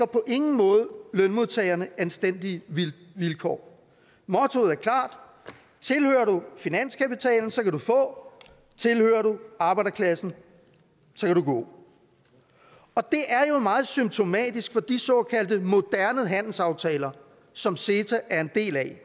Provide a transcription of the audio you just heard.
på ingen måde lønmodtagerne anstændige vilkår mottoet er klart tilhører du finanskapitalen kan du få tilhører du arbejderklassen kan du gå det er jo meget symptomatisk for de såkaldte moderne handelsaftaler som ceta er en del af